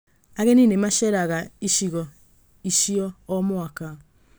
Ageni nĩ maceeraga icigo icio o mwaka.